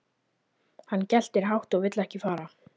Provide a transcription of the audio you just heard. Hann geltir hátt og vill ekki fara.